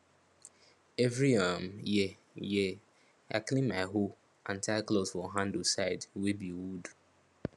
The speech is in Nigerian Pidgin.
every um year year i clean my hoe and tie cloth for handle side wey be wood